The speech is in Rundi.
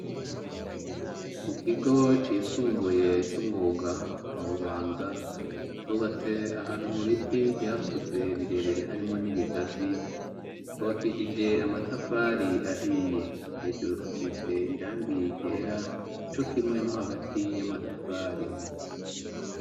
Mu kigo cisumbuye c'umwuga mu bubanza cubatse ahantu mu biti vyakuze birebere harimo n'ibigazi kobakishije amatafari ahiye hejuru hasitse irangiye gera co kimwe no hagati y'amatafari.